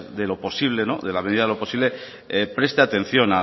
de lo posible de la medida de lo posible preste atención